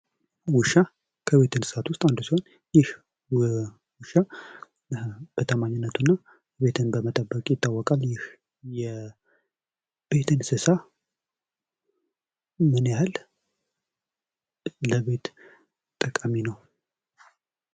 ውሻ ከቤት እንሰሳቶች አንዱ ሲሆን ይህ ውሻ በታማኝነቱ እና ቤትን በመጠበቅ ይታወቃል። ይህ የቤት እንሰሳ ምን ያህል ጠቃሚ ነው?